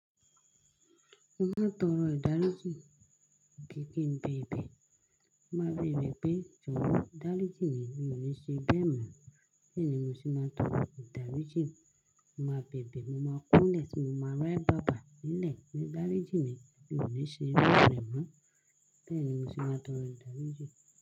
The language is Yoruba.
Mo máa ń tọrọ ìdáríjì àbí bẹ́ẹ̀ bẹ́ẹ̀. Mo máa rí ìrè pé jọ̀wọ́ ìdáríjì mi ò ní ṣe bẹ́ẹ̀ mọ́, bẹ́ẹ̀ ni mo sì máa tọrọ ìdáríjì. Mo máa bèbè, mo máa kúnlẹ̀, sì máa ráyè bá a bàá nílẹ̀ pé ìdáríjì mi ò ní ṣe bẹ́ẹ̀ mọ́, bẹ́ẹ̀ ni mo sì máa tọrọ ìdáríjì.